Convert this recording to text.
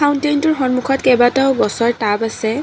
কাউন্তেলটোৰ সন্মুখত কেইবাটাও গছৰ টাব আছে।